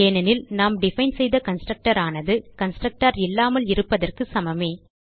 ஏனெனில் நாம் டிஃபைன் செய்த கன்ஸ்ட்ரக்டர் ஆனது கன்ஸ்ட்ரக்டர் இல்லாமல் இருப்பதற்கு சமமே